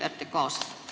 Aitäh!